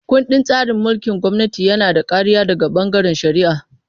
Ƙundin tsarin mulkin gwamnati yana da kariya daga bangaren shari'a.